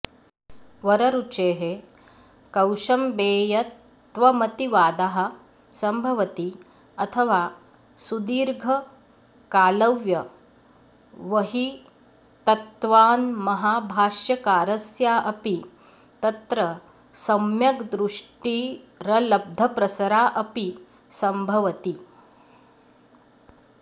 वररुचेः कौशम्बेयत्वमतिवादः सम्भवति अथवा सुदीर्घकालव्यवहितत्वान्महाभाष्यकारस्यापि तत्र सम्यग्दृष्टिरलब्धप्रसराऽपि सम्भवति